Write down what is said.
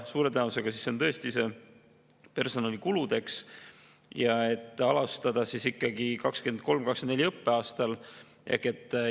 Suure tõenäosusega see on tõesti personalikuludeks ja et alustada ikkagi 2023/24. õppeaastal.